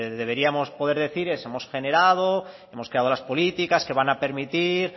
deberíamos poder decir es hemos generado hemos creado las políticas que van a permitir